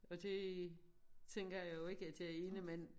Og det tænker jeg jo ikke at jeg ene mand